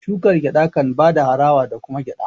shukar gyada kan bada harawa da kuma gyada